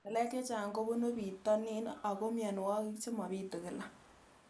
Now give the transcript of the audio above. Ng'alek chechang' kopunu pitonin ako mianwogik che mapitu kila